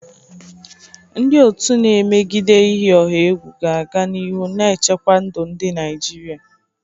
Ndị otu na-emegide iyi ọha egwu ga-aga n'ihu na-echekwa ndụ ndị Naijiria.